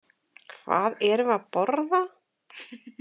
Hvað erum við að borða?